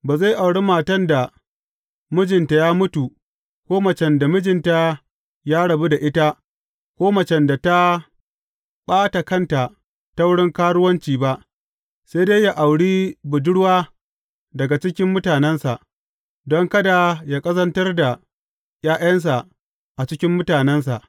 Ba zai auri matan da mijinta ya mutu, ko macen da mijinta ya rabu da ita, ko macen da ta ɓata kanta ta wurin karuwanci ba, sai dai yă auri budurwa daga cikin mutanensa, don kada yă ƙazantar da ’ya’yansa a cikin mutanensa.